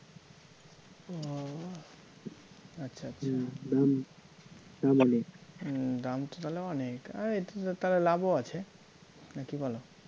ও আচ্ছা আচ্ছা হম দাম তো তাহলে অনেক, আরে এটা তো তাহলে লাভও আছে না কী বলো?